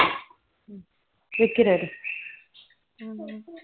ஆனா ரொம்ப